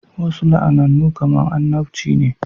Wasu la'anannu kamar annabci ne